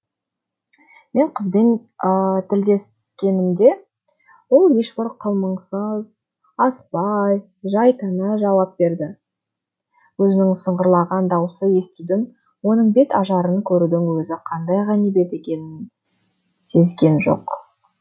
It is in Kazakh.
мен қызбен тілдескенімде ол ешбір қылмыңсыз асықпай жай тана жауап берді өзінің сыңғырлаған даусын естудің оның бет ажарын көрудің өзі қандай ғанибет екенін сезген жоқ